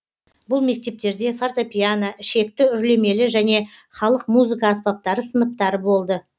бұл мектептерде фортепьяно ішекті үрлемелі және халық музыка аспаптары сыныптары болды